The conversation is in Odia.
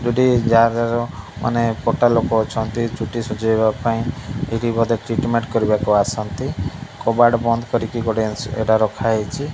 ଚୁଟି ଯା କର ମାନେ କଟା ଲୋକ ଅଛନ୍ତି ଚୁଟି ସୁଜେଇବା ପାଇଁ ଏଠି ବୋଧେ ଟିଟମେଟ୍ କରିବାକୁ ଆସନ୍ତି କବାଟ ବନ୍ଦ କରିକି ଏଟା ରଖା ହେଇଚି।